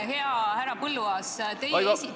Hea härra Põlluaas!